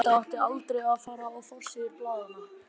Þetta átti aldrei að fara á forsíður blaðanna.